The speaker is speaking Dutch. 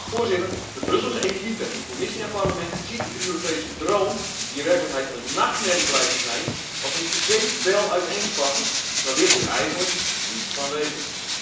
Voorzitter, de Brusselse elite in Commissie en Parlement ziet de Europese droom, die in werkelijkheid een nachtmerrie blijkt te zijn, als een zeepbel uiteenspatten, maar wil hier eigenlijk niets van weten.